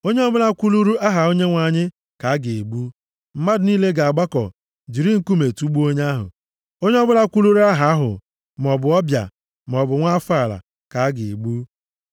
Onye ọbụla kwuluru aha Onyenwe anyị ka a ga-egbu. Mmadụ niile ga-agbakọ jiri nkume tugbuo onye ahụ. Onye ọbụla kwuluru Aha ahụ, maọbụ ọbịa, maọbụ nwa afọ ala, ka a ga-egbu.